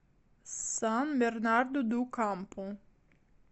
сан бернарду ду кампу